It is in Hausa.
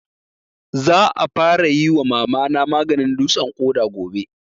Za a fara yi wa Mama na maganin dutsen ƙoda gobe